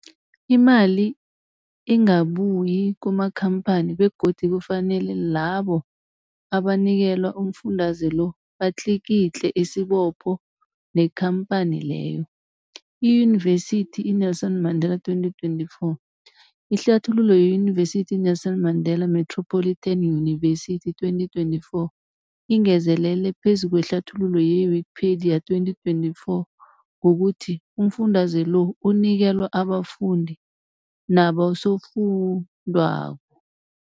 Imali ingabuyi kumakhamphani begodu kufanele labo abanikelwa umfundaze lo batlikitliki isibopho neenkhamphani leyo, Yunivesity i-Nelson Mandela 2024. Ihlathululo yeYunivesithi i-Nelson Mandela Metropolitan University, 2024, ingezelele phezu kwehlathululo ye-Wikipedia, 2024, ngokuthi umfundaze lo unikelwa abafundi nabosofundwakgho.